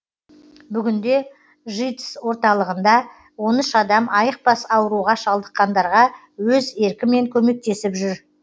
бүгінде житс орталығында он үш адам айықпас ауруға шалдыққандарға өз еркімен көмектесіп жүр